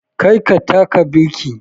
Kar ka taka birki!